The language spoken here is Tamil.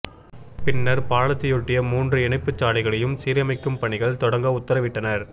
பின்னர் பாலத்தையொட்டிய மூன்று இணைப்புச் சாலைகளையும் சீரமைக்கும் பணிகள் தொடங்க உத்தரவிட்டனர்